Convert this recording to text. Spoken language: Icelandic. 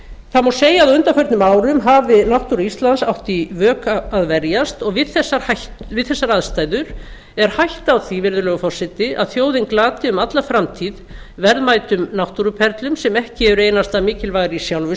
það má segja að á undanförnum árum hafi náttúra íslands átt í vök að verjast og við þessar aðstæður er hætta á því virðulegi forseti að þjóðin glati um alla framtíð verðmætum náttúruperlum sem ekki eru einasta mikilvægar í sjálfu